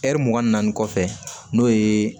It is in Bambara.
Ɛri mugan ni naani kɔfɛ n'o ye